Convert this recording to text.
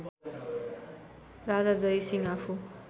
राजा जयसिंह आफू